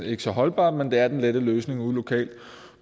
ikke så holdbart men det er den lette løsning ude lokalt